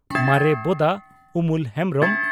ᱢᱟᱨᱮ ᱵᱚᱫᱟ (ᱩᱢᱚᱞ ᱦᱮᱢᱵᱽᱨᱚᱢ)